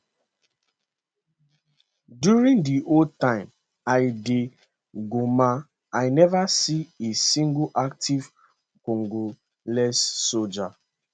during di whole time i dey goma i no see a single active congolese soldier